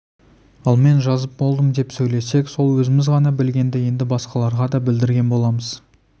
ал мен жазып болдым деп сөйлесек сол өзіміз ғана білгенді енді басқаларға да білдірген боламыз